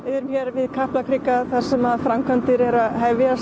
við Kaplakrika þar sem framkvæmdir eru að hefjast